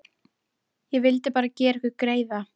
Ég vildi bara gera ykkur greiða.